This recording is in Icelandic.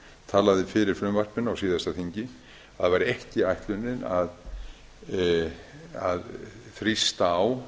talaði fyrir frumvarpinu á síðasta þingi að það væri ekki ætlunin að þrýsta á